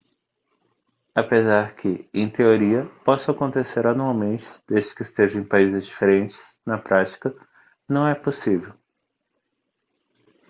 apesar que em teoria possam acontecer anualmente desde que estejam em países diferentes na prática não é possível